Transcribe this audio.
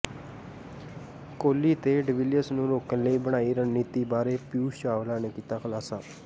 ਕੋਹਲੀ ਤੇ ਡਿਵੀਲੀਅਰਸ ਨੂੰ ਰੋਕਣ ਲਈ ਬਣਾਈ ਰਣਨੀਤੀ ਬਾਰੇ ਪਿਊਸ਼ ਚਾਵਲਾ ਨੇ ਕੀਤਾ ਖੁਲਾਸਾ